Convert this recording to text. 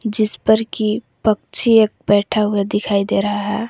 जिस पर की पक्षी एक बैठा हुआ दिखाई दे रहा है।